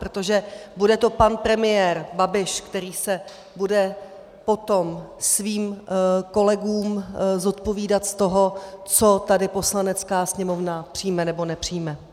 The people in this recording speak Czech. Protože bude to pan premiér Babiš, který se bude potom svým kolegům zodpovídat z toho, co tady Poslanecká sněmovna přijme nebo nepřijme.